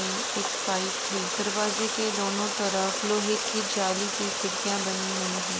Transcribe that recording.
में एक पाइप है। दरवाजे के दोनों तरफ लोहै की जाली की खिड़किया बनी हुई हैं।